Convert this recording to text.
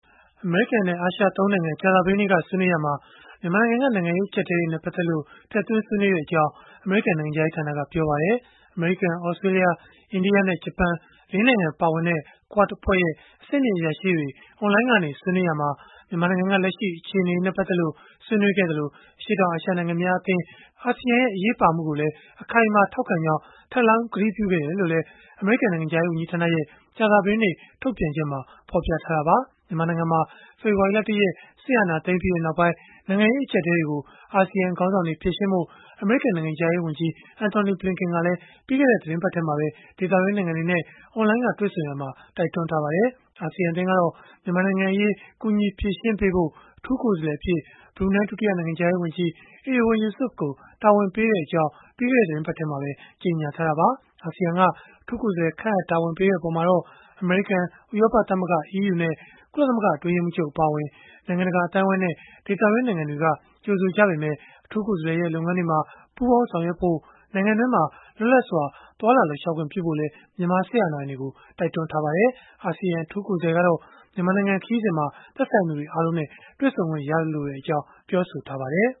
အမေရိကန်နဲ့ အာရှ ၃ နိုင်ငံ ကြာသပတေးနေ့ကဆွေးနွေးရာမှာ မြန်မာနိုင်ငံက နိုင်ငံရေး အကျပ်အတည်းတွေနဲ့ ပတ်သက်လို့ ဆွေးနွေးခဲ့ကြောင်း အမေရိကန် နိုင်ငံခြားရေးဌာနက ပြောပါတယ်။ အမေရိကန်၊ သြစတြေးလျ၊ အိန္ဒိယနဲ့ ဂျပန် ၄ နိုင်ငံ ပါဝင်တဲ့ QUAD အဖွဲ့ရဲ့ အဆင့်မြင့်အရာရှိတွေ အွန်လိုင်းကနေ ဆွေးနွေးရာမှာ မြန်မာနိုင်ငံက လက်ရှိအခြေအနေတွေနဲ့ ပတ်သက်လို့ ဆွေးနွေးခဲ့သလို၊ အရှေ့တောင်အာရှ နိုင်ငံများအသင်း (ASEAN) ရဲ့ အရေးပါမှုကိုလည်း အခိုင်အမာ ထောက်ခံကြောင်း ထပ်လောင်းကတိပြုခဲ့တယ်လို့လည်း အမေရိကန် နိုင်ငံခြားရေး ဝန်ကြီးဌာနရဲ့ ကြာသပတေးနေ့ ထုတ်ပြန်ချက်မှာ ဖော်ပြထားတာပါ။ မြန်မာနိုင်ငံမှာ ဖေဖော်ဝါရီလ ၁ ရက် စစ်အာဏာသိမ်းပြီးနောက်ပိုင်း နိုင်ငံရေး အကျပ်အတည်းတွေကို အာဆီယံ ခေါင်းဆောင်တွေ ဖြေရှင်းဖို့ အမေရိကန် နိုင်ငံခြားရေးဝန်ကြီး Antony Blinken ကလည်း ပြီးခဲ့တဲ့ သီတင်းပတ်ထဲမှာပဲ ဒေသတွင်းနိုင်ငံတွေနဲ့ အွန်လိုင်းက တွေ့ဆုံရာမှာ တိုက်တွန်းထားပါတယ်။ အာဆီယံ အသင်းကတော့ မြန်မာနိုင်ငံအရေး ကူညီဖြေရှင်းပေးဖို့ အထူးကိုယ်စားလှယ်အဖြစ် ဘရူနိုင်း ဒုတိယနိုင်ငံခြားရေးဝန်ကြီး Erywan Yusof ကို တာဝန်ပေးခဲ့ကြောင်း ပြီးခဲ့တဲ့ သီတင်းပတ်ထဲမှာပဲ ကြေညာထားတာပါ။ အာဆီယံက အထူးကိုယ်စားလှယ် ခန့်အပ်တာဝန်ပေးလိုက်တဲ့ အပေါ်မှာတော့ အမေရိကန်၊ ဥရောပသမဂ္ဂ (EU) နဲ့ ကုလသမဂ္ဂ အတွင်းရေးမှူးချုပ် အပါအဝင် နိုင်ငံတကာ အသိုင်းအဝန်းနဲ့ ဒေသတွင်း နိုင်ငံတွေက ကြိုဆိုခဲ့ကြပေမဲ့ အထူးကိုယ်စားလှယ်ရဲ့ လုပ်ငန်းတွေမှာ ပူးပေါင်း ဆောင်ရွက်ဖို့ နိုင်ငံတွင်းမှာ လွတ်လပ်စွာ သွားလာလှုပ်ရှားခွင့် ပြုဖို့လည်း မြန်မာစစ်အာဏာပိုင်တွေကို တိုက်တွန်းထားကြပါတယ်။ အာဆီယံ အထူးကိုယ်စားလှယ်ကတော့ မြန်မာနိုင်ငံ ခရီးစဉ်မှာ သက်ဆိုင်သူတွေ အားလုံးနဲ့ တွေ့ဆုံခွင့်ရလိုကြောင်း ပြောဆိုထားပါတယ်